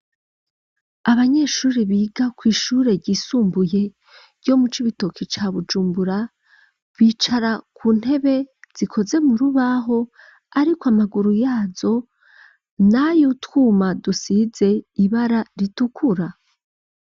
Abanyeshuri biga kw'ishure ryisumbuye ryo mu cibitoki ca Bujumbura bicara ku ntebe zikoze mur ubaho ariko amaguru yazo nay utwuma dusize ibara ritukura.